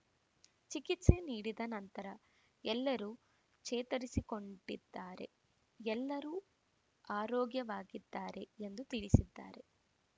ಚಿಕಿತ್ಸೆ ನೀಡಿದ ನಂತರ ಎಲ್ಲರೂ ಚೇತರಿಸಿಕೊಂಡಿದ್ದಾರೆ ಎಲ್ಲರೂ ಆರೋಗ್ಯವಾಗಿದ್ದಾರೆ ಎಂದು ತಿಳಿಸಿದ್ದಾರೆ